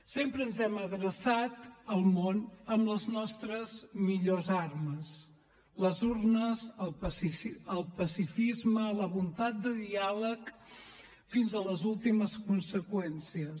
sempre ens hem adreçat al món amb les nostres millors armes les urnes el pacifisme la voluntat de diàleg fins a les últimes conseqüències